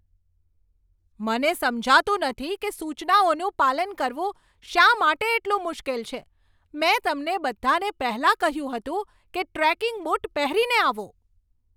મને સમજાતું નથી કે સૂચનાઓનું પાલન કરવું શા માટે એટલું મુશ્કેલ છે. મેં તમને બધાને પહેલાં કહ્યું હતું કે ટ્રેકિંગ બૂટ પહેરીને આવો.